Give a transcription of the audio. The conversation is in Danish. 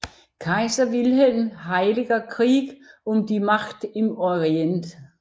Kaiser Wilhelms Heiliger Krieg um die Macht im Orient